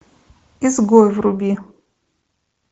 изгой вруби